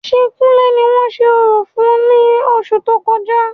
Ṣé kúnlè ni wọ́n ṣe orò fún ní oṣù tó kọjá?